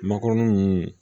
Makɔrɔnin